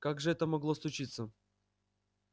как же это могло случиться